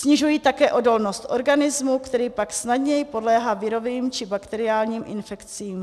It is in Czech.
Snižují také odolnost organismu, který pak snadněji podléhá virovým či bakteriálním infekcím.